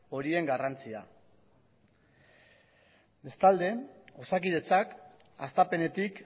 horien garrantzia bestalde osakidetzak hastapenetik